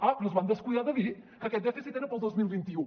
ah però es van descuidar de dir que aquest dèficit era per al dos mil vint u